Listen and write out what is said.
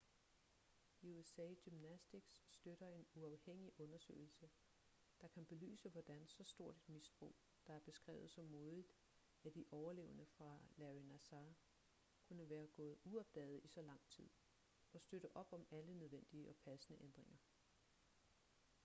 usa gymnastics støtter en uafhængig undersøgelse der kan belyse hvordan så stort et misbrug der er beskrevet så modigt af de overlevende fra larry nassar kunne være gået uopdaget i så lang tid og støtter op om alle nødvendige og passende ændringer